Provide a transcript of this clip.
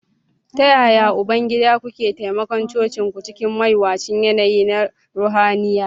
...Ta yaya, Ubangida, kuke taimakon cocinku cikin mawuyacin yanayi na ruhaniya?